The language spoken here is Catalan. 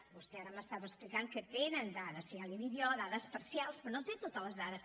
vostè ara m’estava explicant que tenen dades i ja l’hi dic jo dades parcials però no té totes les dades